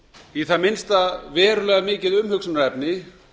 í það minnsta verulega mikið umhugsunarefni